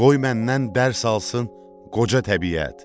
Qoy məndən dərs alsın qoca təbiət.